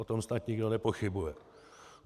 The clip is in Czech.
O tom snad nikdo nepochybuje.